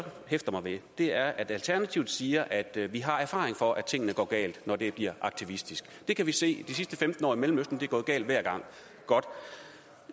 hæfter mig ved er at alternativet siger at vi har erfaring for at tingene går galt når det bliver aktivistisk det kan vi se de sidste femten år i mellemøsten er det gået galt hver gang godt